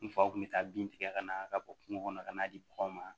N faw kun be taa bin tigɛ ka na ka bɔ kungo kɔnɔ ka n'a di panw ma